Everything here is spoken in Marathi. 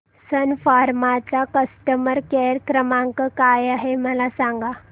सन फार्मा चा कस्टमर केअर क्रमांक काय आहे मला सांगा